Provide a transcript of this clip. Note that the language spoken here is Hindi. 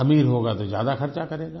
अमीर होगा तो ज्यादा खर्चा करेगा